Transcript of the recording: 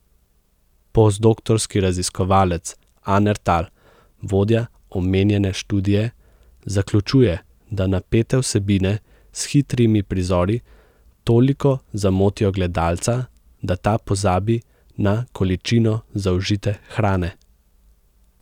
Postdoktorski raziskovalec Aner Tal, vodja omenjene študije, zaključuje, da napete vsebine s hitrimi prizori toliko zamotijo gledalca, da ta pozabi na količino zaužite hrane.